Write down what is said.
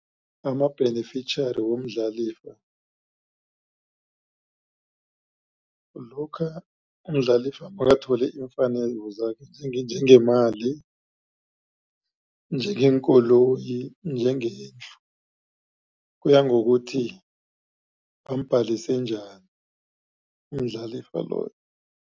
Ama-beneficiary womdlalifa kulokha umdlalifa makathole iimfanelo zakhe njengemali, njengeenkoloyi, njengelihlo kuya ngokuthi bambhalise njani umdlalifa loyo.